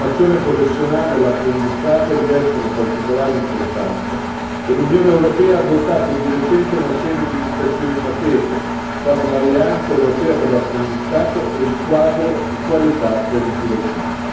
La formazione professionale e l'apprendistato rivestono particolare importanza e l'Unione europea ha adottato di recente una serie di iniziative in materia, quali l'alleanza europea per l'apprendistato e il quadro di qualità per i tirocini.